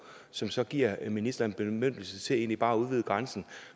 som så giver ministeren bemyndigelse til egentlig bare at udvide grænsen